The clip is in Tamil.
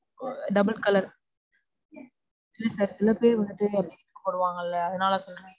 Double colour இல்ல sir, சில பேர் வந்துட்டு